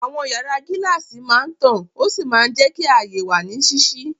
Àwọn yàrá gíláàsì máa ń tàn ó sì máa ń jẹ́ kí ààyè wà ní ṣíṣí.